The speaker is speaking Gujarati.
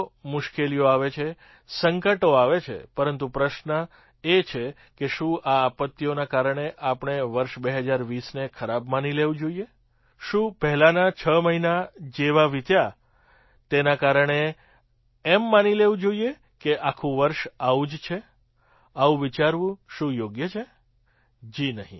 મુશ્કેલીઓ આવે છે સંકટો આવે છે પરંતુ પ્રશ્ન એ છે કે શું આ આપત્તિઓના કારણે આપણે વર્ષ ૨૦૨૦ને ખરાબ માની લેવું જોઈએ શું પહેલાંના છ મહિના જેવા વિત્યા તેના કારણે એમ માની લેવું કે આખું વર્ષ આવું જ છે આવું વિચારવું શું યોગ્ય છે જી નહીં